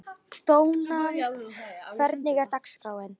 Dónald, hvernig er dagskráin?